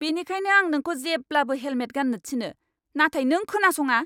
बेनिखायनो आं नोंखौ जेब्लाबो हेलमेट गान्नो थिनो, नाथाय नों खोनासङा!